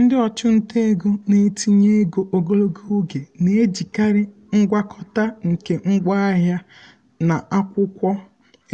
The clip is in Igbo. ndị ọchụnta ego na-etinye ego ogologo oge na-ejikarị ngwakọta nke ngwaahịa na akwụkwọ